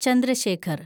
Chandra Shekhar